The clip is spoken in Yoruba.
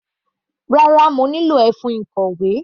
Rárá, mo nílò ẹfun ìkọ̀wé.